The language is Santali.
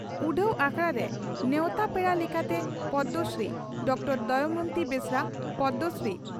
ᱩᱰᱷᱟᱹᱣ ᱟᱠᱷᱲᱟᱨᱮ ᱱᱮᱣᱛᱟ ᱯᱮᱲᱟ ᱞᱮᱠᱟᱛᱮ ᱯᱚᱫᱽᱢᱚᱥᱨᱤ ᱰᱚᱠᱴᱚᱨᱹ ᱫᱚᱢᱚᱭᱚᱱᱛᱤ ᱵᱮᱥᱨᱟ ᱯᱚᱫᱽᱢᱚᱥᱨᱤ